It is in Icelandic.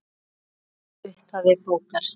Brot úr upphafi bókar